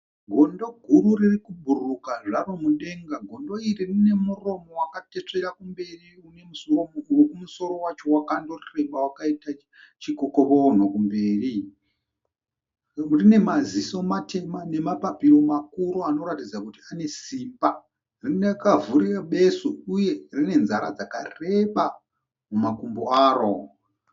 Gondo. guru riri kubhururuka zvaro mudenga. Gondo iri rine muromo wakatesvera kumberi wekumusoro wacho wakandoreba wakaita chikokoronho kumberi. Rine maziso matema nemapapiro makuru anoratidza kuti ane simbi. Rine kavhurire besu uye rine nzara dzakareba mumakumbo aro.